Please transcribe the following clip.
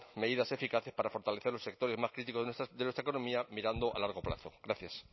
medidas eficaces para fortalecer los sectores más críticos de nuestra economía mirando a largo plazo gracias